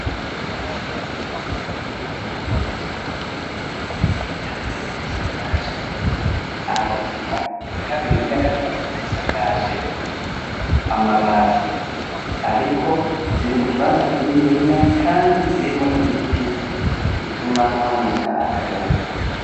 Ishure ritoyi rya Gihofi ya gatatu harimwo amazu atandukanye, iya mbere isakaje amategura, iya kabiri n'iya gatatu zisakaje amabati, ariko ziri mu kibanza kinininya kandi kirimwo ibiti bituma haboneka akayaga.